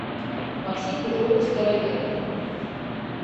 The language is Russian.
максим петрович староверов